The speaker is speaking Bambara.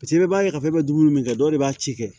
i b'a ye k'a fɔ i bɛ dumuni min kɛ dɔw de b'a ci kɛ